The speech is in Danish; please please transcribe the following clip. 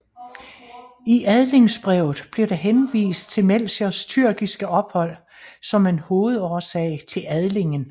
I adlingsbrevet blev der henvist til Melchiors tyrkiske ophold som en hovedårsag til adlingen